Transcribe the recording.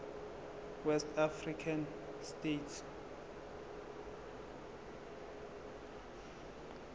west african states